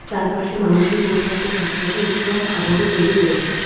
তার পাশে মানুষের পোশাক ও সাজসজ্জা উৎসব তৈরি করেছে।